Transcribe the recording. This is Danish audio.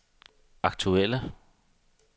aktuelle